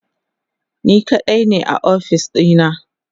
ni kaɗai ne a ofis ɗina